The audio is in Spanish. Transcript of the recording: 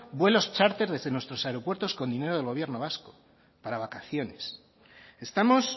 vuelos chárter desde nuestros aeropuertos con dinero del gobierno vasco para vacaciones estamos